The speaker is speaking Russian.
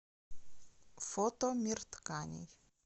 фото мир тканей